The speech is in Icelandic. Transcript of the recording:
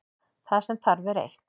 Það sem þarf er eitt.